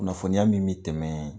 Kunnafoniya min bɛ tɛmɛ